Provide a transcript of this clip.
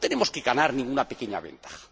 No tenemos que ganar ninguna pequeña ventaja.